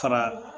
Fara